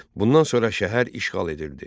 Bundan sonra şəhər işğal edildi.